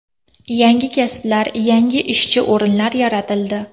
Yangi kasblar, yangi ishchi o‘rinlar yaratildi.